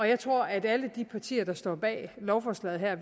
jeg tror at alle de partier der står bag lovforslaget her